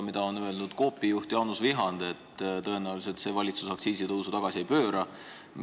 Coopi juht Jaanus Vihand on öelnud, et tõenäoliselt see valitsus aktsiisitõusu tagasi ei pööra.